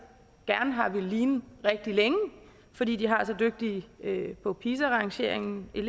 gerne ville ligne rigtig længe fordi de har så dygtige elever på pisa rangeringen har